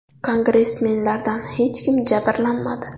Kongressmenlardan hech kim jabrlanmadi.